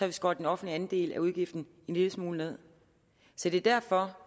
vi skåret den offentlige andel af udgiften en lille smule ned så det er derfor